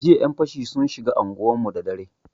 Jiya yan fashi sun shiga anguwarmu da dare.